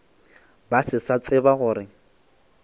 ba se sa tseba gore